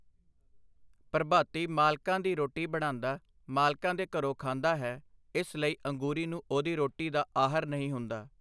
ਪ੍ਰਭਾਤੀ ਮਾਲਕਾਂ ਦੀ ਰੋਟੀ ਬਣਾਂਦਾ, ਮਾਲਕਾਂ ਦੇ ਘਰੋਂ ਖਾਂਦਾ ਹੈ, ਇਸ ਲਈ ਅੰਗੂਰੀ ਨੂੰ ਉਹਦੀ ਰੋਟੀ ਦਾ ਆਹਰ ਨਹੀਂ ਹੁੰਦਾ.